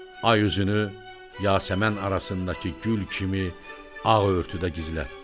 Ay üzünü yasəmən arasındakı gül kimi ağ örtüdə gizlətdi.